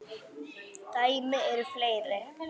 Dæmi eru fleiri.